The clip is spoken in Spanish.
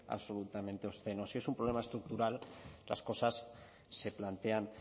absolutamente obsceno si es un problema estructural las cosas se plantean